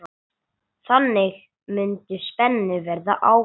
Þannig mundi spennu verða aflétt.